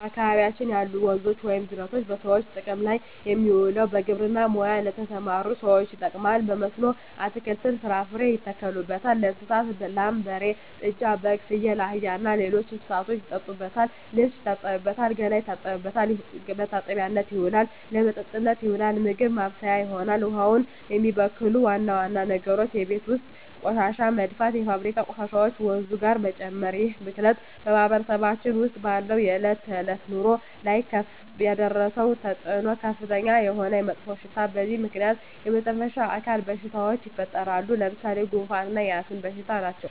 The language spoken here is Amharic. በአካባቢያችን ያሉ ወንዞች ወይም ጅረቶች በሰዎች ጥቅም ላይ የሚውለው በግብርና ሙያ ለተሠማሩ ሠዎች ይጠቅማል። በመስኖ አትክልትን፣ ፍራፍሬ ያተክሉበታል። ለእንስሳት ላም፣ በሬ፣ ጥጃ፣ በግ፣ ፍየል፣ አህያ እና ሌሎች እንስሶችን ያጠጡበታል፣ ልብስ ይታጠብበታል፣ ገላ መታጠቢያነት ይሆናል። ለመጠጥነት ይውላል፣ ምግብ ማብሠያ ይሆናል። ውሃውን የሚበክሉ ዋና ዋና ነገሮች የቤት ውስጥ ቆሻሻ መድፋት፣ የፋብሪካ ቆሻሾችን ወንዙ ጋር መጨመር ይህ ብክለት በማህበረሰባችን ውስጥ ባለው የዕለት ተዕለት ኑሮ ላይ ያደረሰው ተፅኖ ከፍተኛ የሆነ መጥፎሽታ በዚህ ምክንያት የመተነፈሻ አካል በሽታዎች ይፈጠራሉ። ለምሣሌ፦ ጉንፋ እና የአስም በሽታ ናቸው።